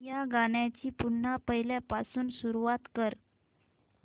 या गाण्या ची पुन्हा पहिल्यापासून सुरुवात कर